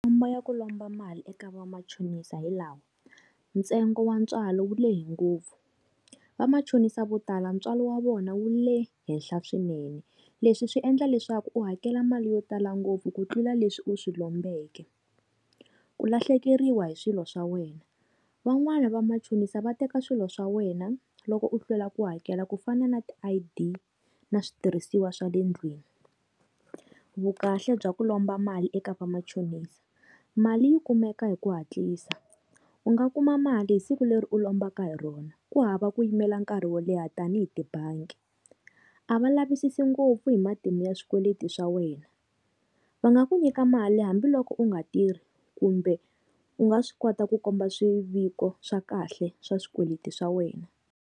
Khombo ya ku lomba mali eka va machonisa hi lama, ntsengo wa ntswalo wu le hi ngopfu va machonisa vo tala ntswalo wa vona wu le henhla swinene leswi swi endla leswaku u hakela mali yo tala ngopfu ku tlula leswi u swi lombeka. Ku lahlekeriwa hi swilo swa wena van'wani va machonisa va teka swilo swa wena loko u hlwela ku hakela ku fana na ti I_D na switirhisiwa swa le ndlwini. Vu kahle bya ku lomba mali eka va machonisa, mali yi kumeka hi ku hatlisa u nga kuma mali hi siku leri u lombaka hi rona ku hava ku yimela nkarhi wo leha tanihi tibangi, a va lavisisi ngopfu hi matimu ya swikweleti swa wena va nga ku nyika mali hambiloko u nga tirhi kumbe u nga swi kota ku komba swiviko swa kahle swa swikweleti swa wena.